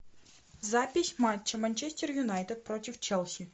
запись матча манчестер юнайтед против челси